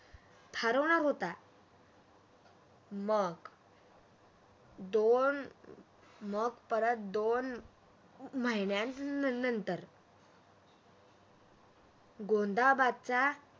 हरवणार होता मग दोन मग परत दोन महिन्यानंतर गोंधाबदचा